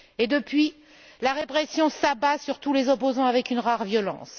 Depuis, la répression s'abat sur les opposants avec une rare violence.